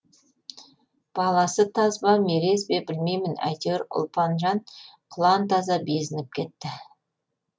баласы таз ба мерез бе білмеймін әйтеуір ұлпанжан құлан таза безініп кетті